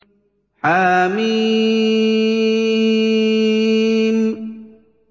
حم